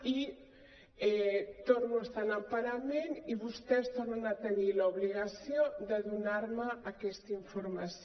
i torno a estar en emparament i vostès tornen a tenir l’obligació de donar me aquesta informació